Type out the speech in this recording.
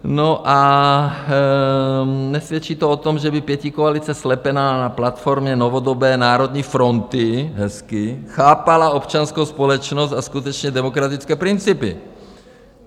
No a nesvědčí to o tom, že by pětikoalice slepená na platformě novodobé národní fronty, hezky, chápala občanskou společnost a skutečně demokratické principy.